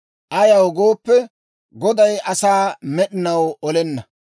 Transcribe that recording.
Ayaw gooppe, Goday asaa med'inaw olenna;